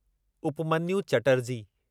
Upmanyu Chatterjee